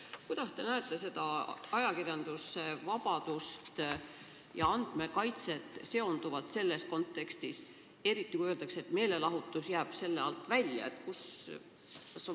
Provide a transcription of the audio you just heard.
Kuidas te näete ajakirjandusvabadust ja andmekaitset selles kontekstis, eriti kui öeldakse, et meelelahutus jääb siit alt välja?